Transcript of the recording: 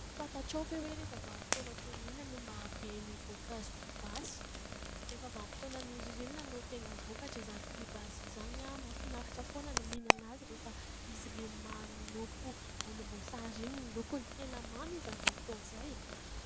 Fantatrao ve hoe rehefa vanim-potoana toy ny inona no mahabe ny voankazo pibasy ? Rehefa vanim-potoanan'ny ririnina no tena vokatra izany pibasy izany. Mahafinaritra foana ny mihinana azy rehefa izy ilay manopy volomboasary iny ny lokony. Tena mamy izy amin'izay fotoana izay.